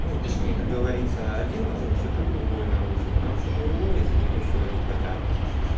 ну точнее как говорится один нарушит и другой нарушит нарушит другой и за ним ещё одни потянутся